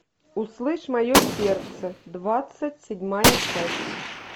услышь мое сердце двадцать седьмая часть